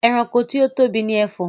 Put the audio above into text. Ẹranko tí ó tóbi ni Ẹfọ̀n